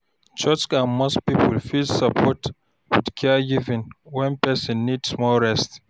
Church and mosque people fit support with caregiving when person need small rest.